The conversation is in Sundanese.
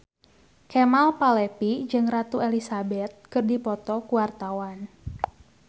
Kemal Palevi jeung Ratu Elizabeth keur dipoto ku wartawan